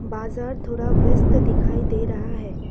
बाजार थोड़ा व्यस्त दिखाई दे रहा है।